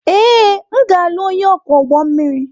Ee, m ga-alụ onye ọkwọ ụgbọ mmiri.